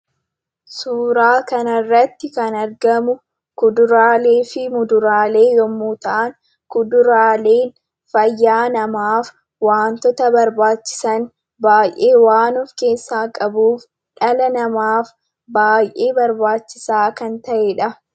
Suuraa kana irratti kan argamu ,kuduraalee fi muduraalee yemmuu ta'an, kuduraaleen fayyaa namaaf wantoota barbaachisan baay'ee waan of keessaa qabuuf dhala namaaf baay'ee barbaachisaa kan ta'edha.